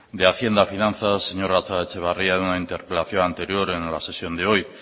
de hacienda y finanzas el señor gatzagaetxebarria en una interpelación anterior en la sesión de hoy